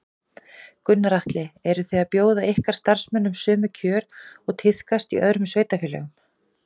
Gunnar Atli: Eru þið að bjóða ykkar starfsmönnum sömu kjör og tíðkast í öðrum sveitarfélögum?